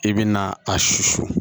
I bɛ na a susu